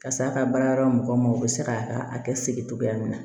Ka se a ka baara yɔrɔ mɔgɔw ma u bɛ se k'a ka a kɛ segin cogoya min na